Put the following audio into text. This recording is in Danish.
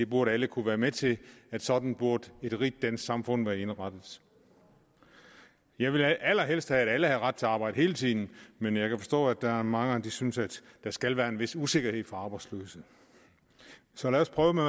burde kunne være med til sådan burde et rigt dansk samfund være indrettet jeg ville allerhelst have at alle havde ret til arbejde hele tiden men jeg kan forstå at der er mange der synes at der skal være en vis usikkerhed for arbejdsløse så lad os prøve med